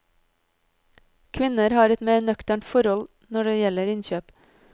Kvinner har et mer nøkternt forhold når det gjelder innkjøp.